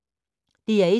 DR1